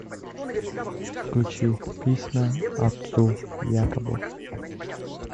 включи письма отцу якобу